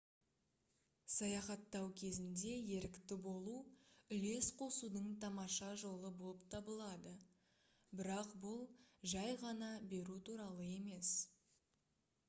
саяхаттау кезінде ерікті болу үлес қосудың тамаша жолы болып табылады бірақ бұл жай ғана беру туралы емес